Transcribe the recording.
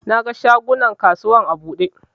Na ga shagunan kasuwar a buɗe